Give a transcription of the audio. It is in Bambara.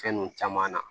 Fɛn nunnu caman na